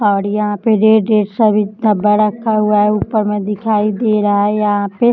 औड यहाँ पे red -red सब इतना बड़ा खा हुआ है। ऊपर में दिखाई दे रहा है यहाँ पे --